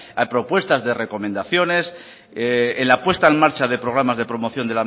hay propuestas de recomendaciones en la puesta en marcha de promoción